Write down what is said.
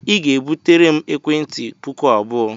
Ị ga-ebutere m ekwentị puku abụọ!